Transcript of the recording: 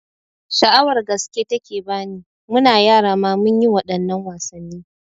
Sha'awar gaske take bani, muna yara ma munyi waɗannan wasanni